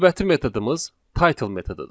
Növbəti metodumuz title metodudur.